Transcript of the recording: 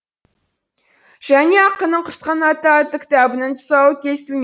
және ақынның құсқанаты атты кітабының тұсауы кесіл